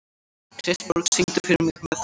Kristborg, syngdu fyrir mig „Með þér“.